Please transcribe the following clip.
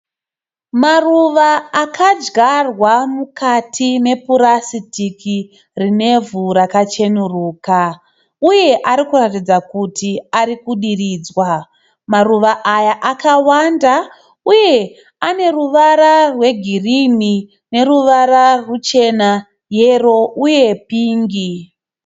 Maruva akadyarwa mukati mepurasitiki rine ivhu rakacheneruka uye ari kuratidza kuti ari kudiridzwa maruva aya akawanda uye ane ruvara rwegirini, neruvara ruchena ,yero uye pingi.